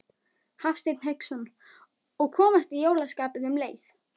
Hafsteinn Hauksson: Og komast í jólaskapið um leið?